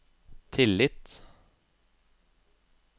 tillit